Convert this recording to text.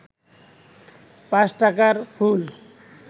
৫ টাকার ফুল